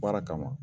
Baara kama